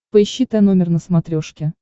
поищи тномер на смотрешке